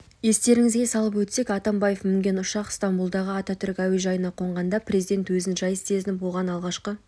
естеріңізге салып өтсек атамбаев мінген ұшақ стамбұлдағы ататүрік әуежайына қонғанда президент өзін жайсыз сезініп оған алғашқы